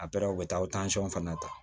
A pere u bɛ taa o tansɔn fana ta